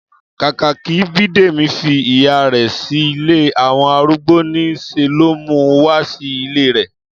Kákà kí Bídèmí fi ìyá rè̩ sí ilé àwo̩n arúgbo, ní s̩e ló mu wá sí ilé rè̩